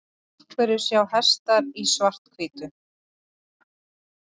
Af hverju sjá hestar í svart-hvítu?